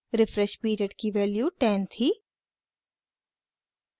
refresh period की value 10 थी